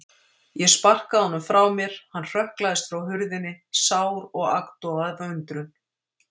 Ég sparkaði honum frá mér, hann hrökklaðist frá hurðinni, sár og agndofa af undrun.